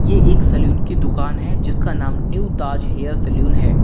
यह एक सलून की दुकान है जिसका नाम न्यू ताज हेयर सलून है।